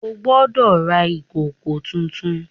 O gbódò rà ìkọkọ títún!